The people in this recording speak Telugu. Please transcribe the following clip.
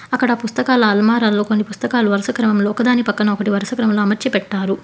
అక్కడ పుస్తకాలు అల్మరాలో కొన్ని పుస్తకాలు వరుస క్రమంలో ఒకదాని పక్కన ఒకటి వరుస క్రమంలో అమర్చి పెట్టారు.